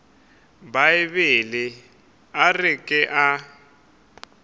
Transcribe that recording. bibele a re ke a